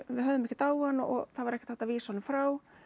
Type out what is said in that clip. höfðum ekkert á hann og það var ekkert hægt að vísa honum frá